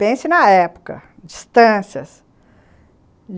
Pense na época, distâncias.